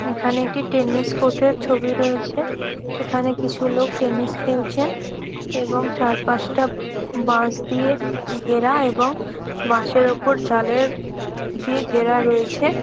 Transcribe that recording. এইখানে একটি টেনিস কোর্টের ছবি রয়েছে। এইখানে কিছু লোক টেনিস খেলছেন এবং চারপাশটা বাশ দিয়ে ঘেরা। এবং বাসের ওপর জালের দিয়ে ঘেরা রয়েছে।